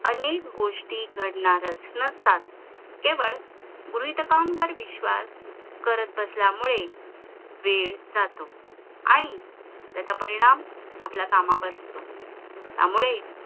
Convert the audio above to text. अनेक गोष्टी घडणारच नसतात केवळ गृहीतकांवर विश्वास करत बसल्यामुळे वेळ जातो आणि त्याचा परिणाम आपल्या कामावर होतो त्यामुळे